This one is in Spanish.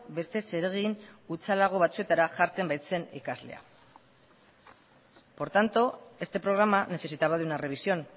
beste zeregin hutsalago batzuetara jartzen baitzen ikaslea por tanto este programa necesitaba de una revisión